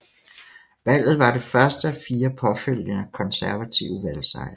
Valget var det første af fire påfølgende konservative valgsejre